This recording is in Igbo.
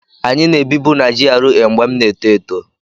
Anyị na-ebibu na GRA mgbe m na-eto eto